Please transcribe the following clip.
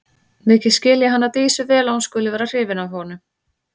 Mikið skil ég hana Dísu vel að hún skuli vera hrifin af honum.